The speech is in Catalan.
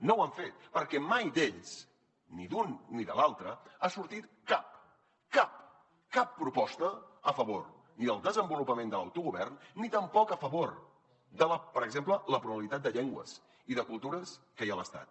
no ho han fet perquè mai d’ells ni d’un ni de l’altre ha sortit cap cap cap proposta a favor ni del desenvolupament de l’autogovern ni tampoc a favor per exemple de la pluralitat de llengües i de cultures que hi ha a l’estat